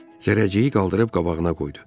Zərrəciyi qaldırıb qabağına qoydu.